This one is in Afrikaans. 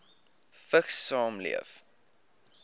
vigs saamleef